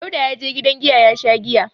Dauda ya je gidan giya ya sha giya.